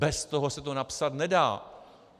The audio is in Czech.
Bez toho se to napsat nedá.